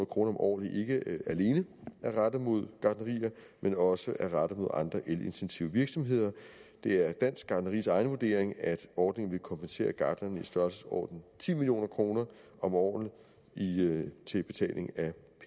kroner om året ikke alene er rettet mod gartnerier men også er rettet mod andre elintensive virksomheder det er dansk gartneris egen vurdering at ordningen vil kompensere gartnerne i størrelsesordenen ti million kroner om året til betaling af